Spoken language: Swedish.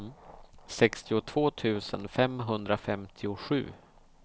sextiotvå tusen femhundrafemtiosju